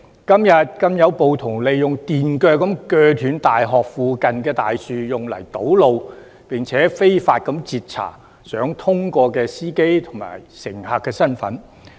今天更有暴徒利用電鋸鋸斷大學附近的大樹用以堵路，並且非法截查想通過道路的司機及乘客的身份。